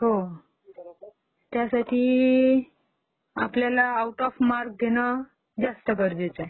हो ..........त्यासाठी आपल्याला आऊट ऑफ माक्रस घेणं जास्त गरजेचं आहे.